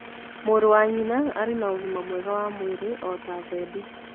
Mũrũ wa nyina arĩ na ũgima mwega wa mwĩrĩ o ta thendi.